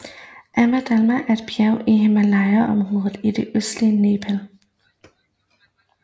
Ama Dablam er et bjerg i Himalayaområdet i det østlige Nepal